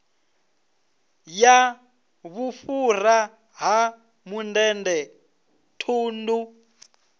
ya vhufhura ha mundende thundu